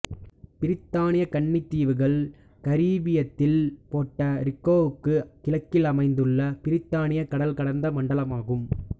பிரித்தானிய கன்னித் தீவுகள் கரிபியத்தில் போட்ட ரிக்கோவுக்கு கிழக்கில் அமைந்துள்ள பிரித்தானிய கடல்கடந்த மண்டலமாகும்